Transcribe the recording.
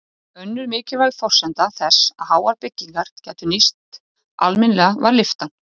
Önnur mikilvæg forsenda þess að háar byggingar gætu nýst almennilega var lyftan.